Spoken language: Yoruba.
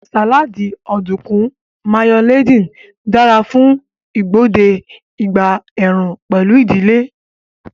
Sáláádì Ọ̀dùnkún Mayo-laden dara fún igbode ìgbà ẹ̀ẹ̀rùn pẹ̀lú ìdílé